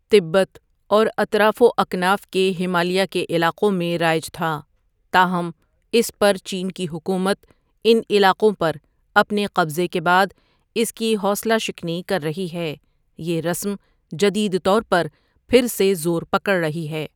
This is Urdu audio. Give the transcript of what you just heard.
تبت اور اطراف و اکناف کے ہمالیہ کے علاقوں میں رائج تھا تاہم اس پر چین کی حکومت ان علاقوں پر اپنے قبضے کے بعد اس کی حوصلہ شکنی کر رہی ہے یہ رسم جدید طور پر پھر سے زور پکڑ رہی ہے۔